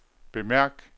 bemærk